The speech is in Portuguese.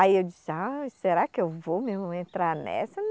Aí eu disse, ai será que eu vou mesmo entrar nessa?